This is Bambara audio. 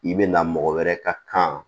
I bɛ na mɔgɔ wɛrɛ ka kan